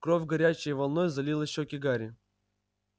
кровь горячей волной залила щёки гарри